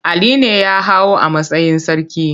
Ali ne ya hau a matsayin sarki.